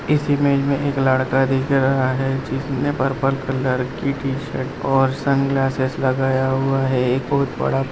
इस इमेज में एक लड़का दिख रहा है जिसने पर्पल कलर की टी-शर्ट और सन ग्लासेज लगाया हुए है। एक बहोत बड़ा --